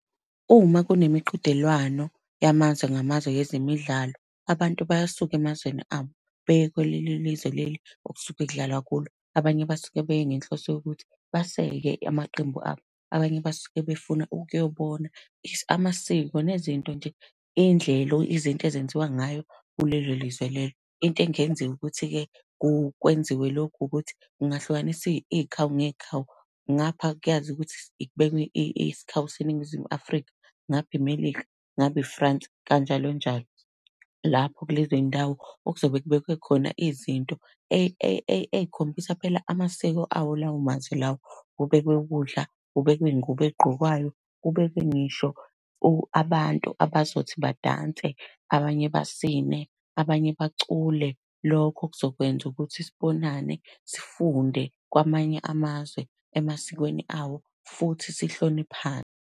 Uma kunemiqhudelwano yamazwe ngamazwe yezemidlalo, abantu basuke emazweni abo, beye kuleli lizwe leli okusuke kudlalwa kulo. Abanye basuke beye ngenhloso yokuthi baseke amaqembu abo, abanye basuke befuna ukuyobona amasiko nezinto nje iy'ndlela izinto ezenziwa ngayo kulelo lizwe lelo. Into engenziwa ukuthi-ke kwenziwe lokhu ukuthi kungahlukaniswa iy'khawu ney'khawu, ngapha kuyaziwa ukuthi kubekwa isikhawu seNingizimu Afrika, ngapha iMelika, ngapha i-France kanjalo kanjalo. Lapho kulezo zindawo okuzobe kubekwe khona izinto ey'khombisa phela amasiko awo lawo mazwe lawo. Kubekwe ukudla, kubekwe iy'ngubo ey'gqokwayo kubekwe ngisho abantu abazothi badanse, abanye basine, abanye bacula. Lokho kuzokwenza ukuthi sibonane sifunde kwamanye amazwe emasikweni awo, futhi sihloniphane.